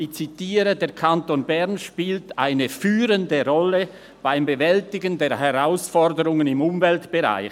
«Der Kanton Bern spielt eine führende Rolle beim Bewältigen der Herausforderungen im Umweltbereich.